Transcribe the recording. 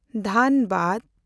ᱫᱷᱟᱱᱵᱟᱫᱽ